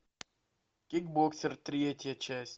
кикбоксер третья часть